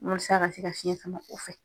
Walasa a ka se ka fiɲɛ sama kɔ fɛ.